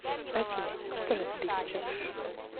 афина что на тебе сейчас